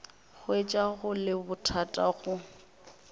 hwetša go le bothata go